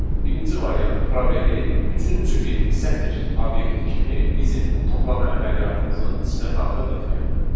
Birinci variant probeli üçüncü bir sətr obyekti kimi bizim toplama əməliyyatımızın içinə daxil etməklə.